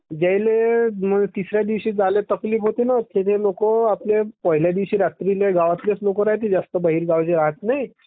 यायले तिसऱ्या दिवशी जायले तकलीफ होते ना ते लोक पहिल्या दिवशी रात्री गांवातलेच लोक राहते जास्त बाहेरगावचे जास्त राहत नाही.